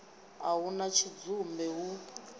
a hu na tshidzumbe hu